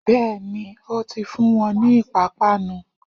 Bẹ́ẹ̀ni, ó ti fún wọn ni ìpápánu